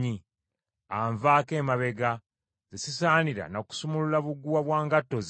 anvaako emabega, nze sisaanira na kusumulula buguwa bwa ngatto ze.”